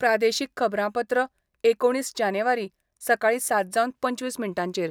प्रादेशीक खबरांपत्र एकुणीस जानेवारी, सकाळी सात जावन पंचवीस मिनटांचेर